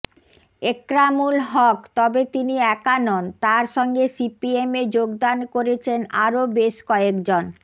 এক্রামূল হক তবে তিনি একা নন তার সঙ্গে সিপিএমে যোগদান করেছেন আরও বেশ কয়েকজন